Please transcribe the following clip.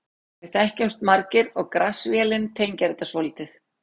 Við þekkjumst margir og Grass-vélin tengir þetta svolítið.